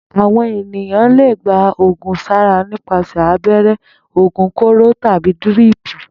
Àwò̩n èèyàn le gba ògùn sára nípasè̩ abé̩ré̩, ògùn kóró, tàbí díríìpù